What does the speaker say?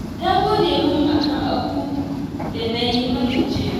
Ta gode min a kan abun da na yi mata jiya